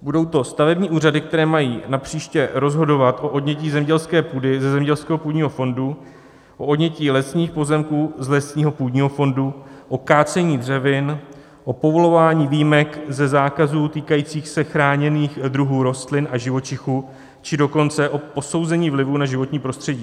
Budou to stavební úřady, které mají napříště rozhodovat o odnětí zemědělské půdy ze zemědělského půdního fondu, o odnětí lesních pozemků z lesního půdního fondu, o kácení dřevin, o povolování výjimek ze zákazů týkajících se chráněných druhů rostlin a živočichů, či dokonce o posouzení vlivu na životní prostředí.